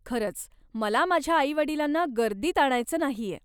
खरंच मला माझ्या आईवडिलांना गर्दीत आणायचं नाहीय.